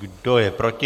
Kdo je proti?